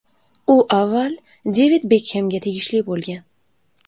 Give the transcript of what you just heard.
U avval Devid Bekhemga tegishli bo‘lgan .